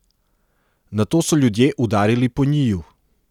Nato so ljudje udarili po njiju.